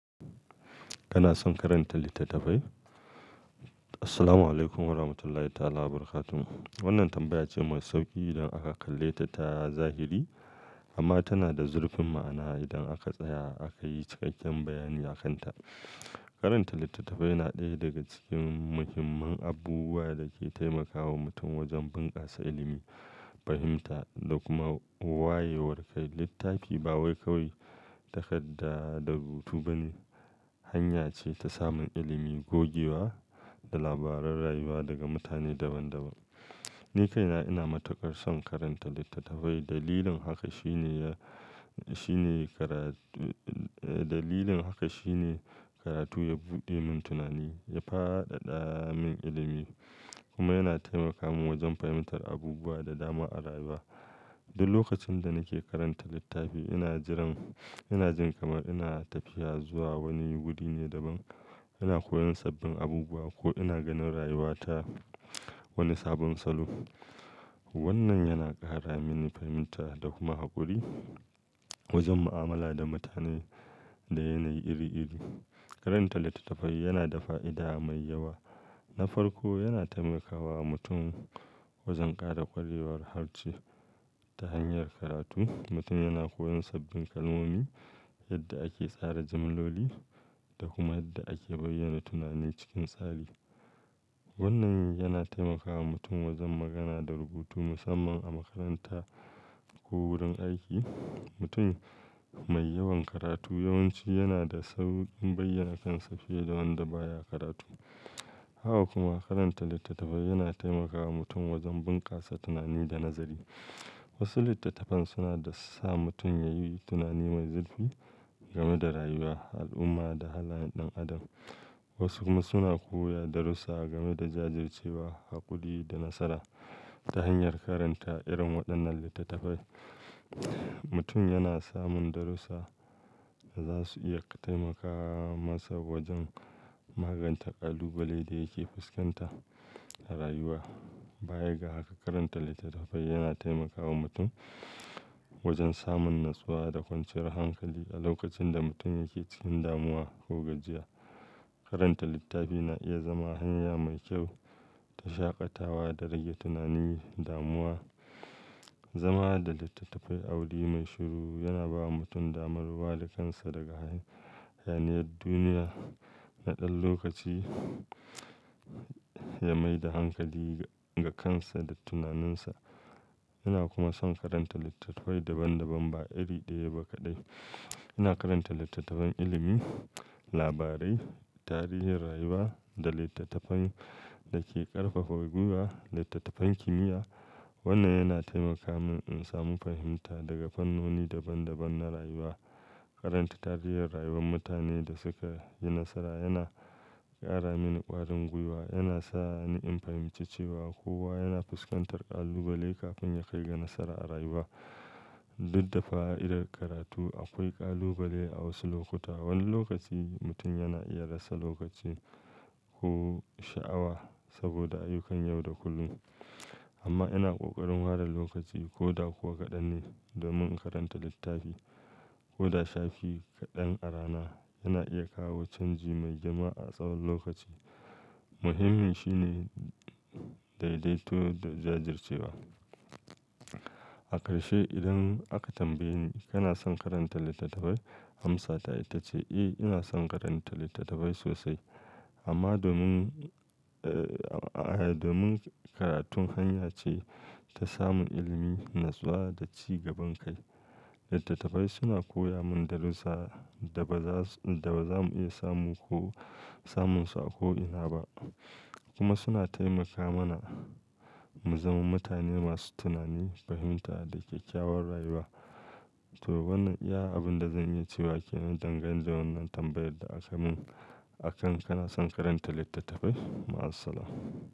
Kana son karanta littattafai? Assalamu alaikum warahmatullahi ta'ala barakatuh. Wannan tambaya ce mai sauƙi idan aka kalle ta ta zahiri. Amma tana da zurfin ma'ana idan aka tsaya aka yi cikakken bayani a kanta. Karanta littattafai na ɗaya daga cikin muhimman abubuwa da ke taimakawa mutum wajen bunkasa ilimi, fahimta da kuma wayewar kai. Littafi ba wai kawai takadda da rubutu bane, hanya ce ta samun ilimi, gogewa da labaran rayuwa daga mutane daban-daban. Ni kaina ina matuƙar son karanta littattafai. Dalilin haka shine ya, shine karatu, dalilin haka shine karatu ya buɗe min tunani, ya fadada min ilimi kuma yana taimaka min wajen fahimtar abubuwa da dama a rayuwa. Duk lokacin da nake karanta littafi ina jiran, ina jin kamar ina tafiya zuwa wani wuri ne daban. Ina koyon sabbin abubuwa ko ina ganin rayuwa ta wani sabon salo. Wannan yana ƙara mini fahimta da kuma haƙuri wajen mu'amala da mutane da yanayi iri-iri. Karanta littattafai yana da fa'ida mai yawa. Na farko, yana taimakawa mutum wajen ƙara ƙwarewar harshe ta hanyar karatu. Mutum yana koyon sabbin kalmomi, yadda ake tsara jamloli da kuma yadda ake bayyana tunani cikin tsari. Wannan yana taimakawa mutum wajen magana da rubutu, musamman a makaranta ko wurin aiki. Mutum mai yawan karatu yawanci yana da sauƙin bayyana kansa fiye da wanda baya karatu. Haka kuma karanta littattafai yana taimakawa mutum wajen bunkasa tunani da nazari. Wasu littattafan suna da sa mutum yayi tunani mai zurfi game da rayuwa, al'umma da halayen ɗan adam. Wasu kuma suna koya darussa game da jajircewa, haƙuri da nasara. Ta hanyar karanta irin waɗannan littattafai, mutum yana samun darussa da za su iya taimaka masa wajen magance ƙalubale da yake fuskanta a rayuwa. Baya ga haka, karanta littattafai yana taimakawa mutum wajen samun natsuwa da kwanciyar hankali a lokacin da mutum yake cikin damuwa ko gajiya. Karanta littafi na iya zama hanya mai kyau ta shaƙatawa da rage tunanin damuwa. Zama da littattafai a wuri mai shiru yana bawa mutum damar ware da kansa daga hayaniyar duniya na ɗan lokaci ya mai da hankali ga kansa da tunaninsa. Ina kuma son karanta littattafai daban-daban ba iri ɗaya ba kaɗai. Ina karanta littattafan ilimi, labarai, tarihin rayuwa da littattafan da ke ƙarfafa gwiwa, littattafan kimiyya. Wannan yana taimaka min in samu fahimta daga fannoni daban-daban na rayuwa. Karanta tarihin rayuwar mutanen da suka yi nasara yana ƙara mini ƙwarin gwiwa. Yana sa ni in fahimci cewa kowa yana fuskantar ƙalubale kafin ya kai ga nasara a rayuwa. Duk da fa'idar karatu, akwai ƙalubale a wasu lokuta. Wani lokaci mutum yana iya rasa lokaci ko sha'awa saboda ayyukan yau da kullum. Amma ina ƙoƙarin ware lokaci ko da kuwa kaɗan ne domin in karanta littafi. Ko da shafi kaɗan a rana yana iya kawo canji mai girma a tsawon lokaci. Muhimmi shine daidaito da jajircewa. A ƙarshe idan aka tambaye ni, kana son karanta littattafai amsata ita ce, eh, ina son karanta littattafai sosai. Amma domin, eh, domin karatun hanya ce ta samun ilimi, natsuwa da ci gaban kai. Littattafai suna koya mun darussa da ba za su, da ba za mu iya samu ko samun su a ko ina ba. Kuma suna taimaka mana mu zama mutane masu tunani, fahimta da kyakkyawar rayuwa. To wannan iya abin da zan yi cewa ke nan dangane da wannan tambayar da aka mun akan kana son karanta littattafai. Ma'asalama.